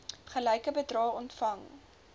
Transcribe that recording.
gelyke bedrae ontvang